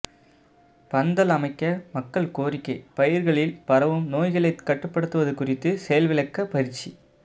பந்தல் அமைக்க மக்கள் கோரிக்கை பயிர்களில் பரவும் நோய்களை கட்டுப்படுத்துவது குறித்து செயல்விளக்க பயிற்சி